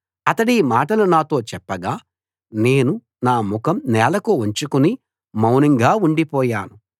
అతడీ మాటలు నాతో చెప్పగా నేను నా ముఖం నేలకు వంచుకుని మౌనంగా ఉండిపోయాను